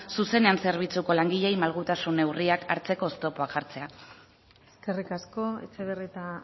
zuzenean zerbitzuko langileei malgutasun neurriak hartzeko oztopoak jartzea eskerrik asko etxebarrieta